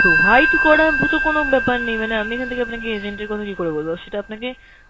provide করার মতো কোনো ব্যাপার নেই মানে আমি এখান থেকে আপনাকে agent এর কথা কীকরে বলব? সেটা আপনাকে